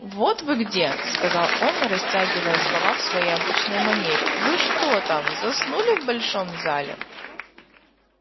вот вы где сказал он растягивая слова в своей обычной манере вы что там заснули в большом зале